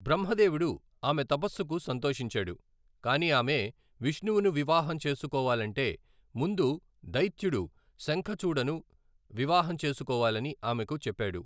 బ్రహ్మ దేవుడు ఆమె తపస్సుకు సంతోషించాడు, కానీ ఆమె విష్ణువును వివాహం చేసుకోవాలంటే ముందు దైత్యుడు శంఖచూడను వివాహం చేసుకోవాలని ఆమెకు చెప్పాడు.